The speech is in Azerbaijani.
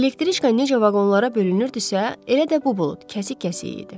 Elektriçka necə vaqonlara bölünürdüsə, elə də bu bulud kəsik-kəsik idi.